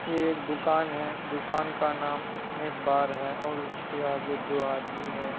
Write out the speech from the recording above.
ये एक दुकान है। दुकान का नाम स्नेक बार हैं। उसके आगे दो आदमी है।